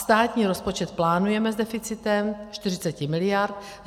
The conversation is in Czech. Státní rozpočet plánujeme s deficitem 40 miliard.